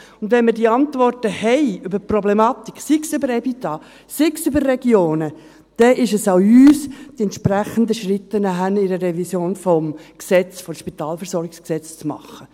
Und wenn wir diese Antworten haben, über die Problematik, sei es über das EBITDA, sei es über Regionen, dann ist es an uns, die entsprechenden Schritte nachher im Rahmen einer Revision des Gesetzes, des SpVG, zu machen.